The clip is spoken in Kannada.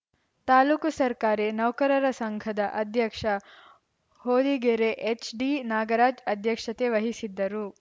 ತಾಲೂಕು ಸರ್ಕಾರಿ ನೌಕರರ ಸಂಘದ ಅಧ್ಯಕ್ಷ ಹೊದಿಗೆರೆ ಎಚ್‌ಡಿನಾಗರಾಜ್‌ ಅಧ್ಯಕ್ಷತೆ ವಹಿಸಿದ್ದರು